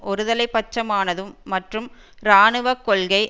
ஒருதலை பட்சமானதும் மற்றும் இராணுவ கொள்கை